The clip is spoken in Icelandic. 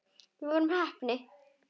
Við vorum heppni.